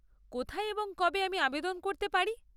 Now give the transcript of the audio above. কোথায় এবং কবে আমি আবেদন করতে পারি?